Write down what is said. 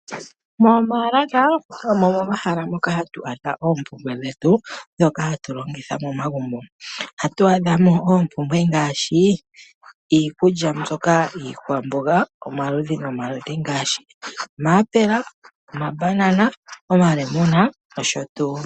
Momaalaka omo momahala moka hatu adha oompumbwe dhetu dhoka hatu longitha momagumbo. Ohatu adhamo oompumbwe ngaashi, iikulya mbyoka iikwamboga omaludhi nomaludhi ngaashi omaapela, omambanana, omalemuna nosho tuu.